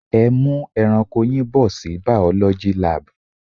Ẹ mú ẹranko yín bọ̀ sí biology lab.